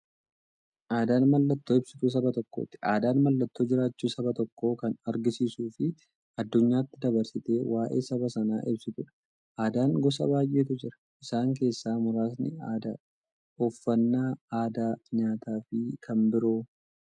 Aadaan mallattoo ibsituu saba tokkooti. Aadaan mallattoo jiraachuu saba tokkoo kan agarsiistufi addunyyaatti dabarsitee waa'ee saba sanaa ibsituudha. Aadaan gosa baay'eetu jira. Isaan keessaa muraasni aadaa, uffannaa aadaa nyaataafi kan biroo.